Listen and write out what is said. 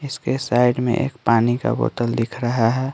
इसके साइड में एक पानी का बोतल दिख रहा है।